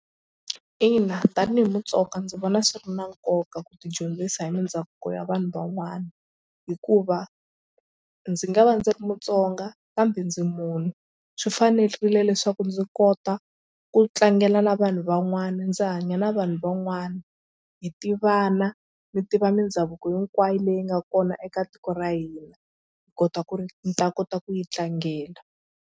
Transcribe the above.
Ina tanihi Mutsonga ndzi vona swi ri na nkoka ku tidyondzisa hi mindhavuko ya vanhu van'wana hikuva ndzi nga va ndzi ri Mutsonga kambe ndzi munhu swi fanerile leswaku ndzi kota ku tlangela na vanhu van'wana ndzi hanya na vanhu van'wana hi tivana mi tiva mindhavuko hinkwayo leyi nga kona eka tiko ra hina hi kota ku ri mi ta kota ku yi tlangela.